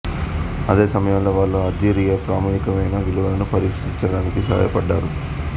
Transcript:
అదే సమయంలో వారు అల్జీరియా ప్రామాణికమైన విలువలను పరిరక్షించడానికి సహాయపడ్డారు